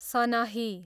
सनही